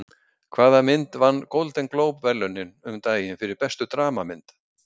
Hvaða mynd vann Golden Globe verðlaunin um daginn fyrir bestu dramamynd?